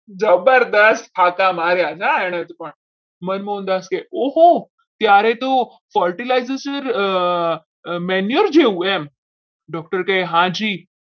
જબરજસ્ત ફાકા મારે ના એને તો મનમોહનદાસ કહે ઓહો ત્યારે તો fertilizer જેવું એમ doctor કહે હાજી